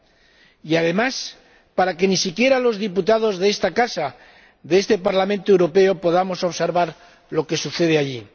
Y todo ello, además, para que ni siquiera los diputados de esta casa, de este Parlamento Europeo, podamos observar lo que sucede allí.